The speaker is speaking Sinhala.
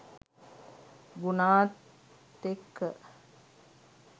ගුනාත් එක්ක